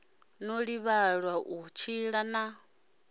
no ḓivhelwa u tshila na